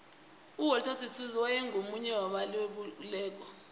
uwalter sisulu waye ngumunye waba lwelibekululeko